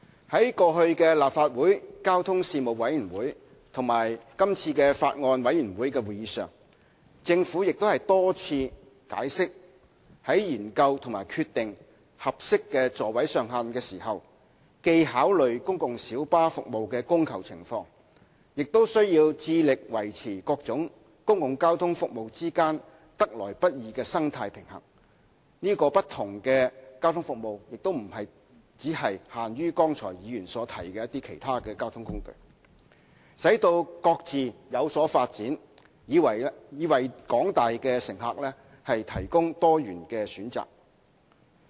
在過去立法會交通事務委員會及今次法案委員會的會議上，政府已多次解釋，在研究及決定合適的座位上限時，既考慮公共小巴服務的供求情況，亦需要致力維持各種公共交通服務之間得來不易的生態平衡——所指的不同交通服務亦不僅限於剛才議員提及的其他交通工具——並使其各自有所發展，藉以為廣大乘客提供多元選擇。